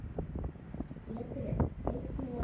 Gettu enn og aftur.